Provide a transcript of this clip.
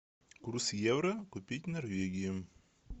курс евро купить в норвегии